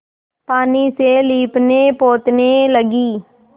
पानी से लीपनेपोतने लगी